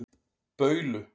Baulu